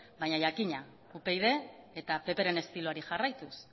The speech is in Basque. baina jakina upyd eta ppren estiloari jarraituz